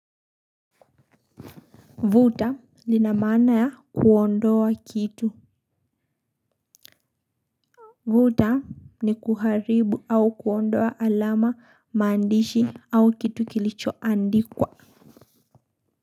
Vuta lina maana ya kuondoa kitu. Vuta ni kuharibu au kuondoa alama maandishi au kitu kilichoandikwa.